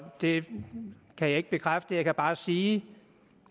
det kan jeg ikke bekræfte jeg kan bare sige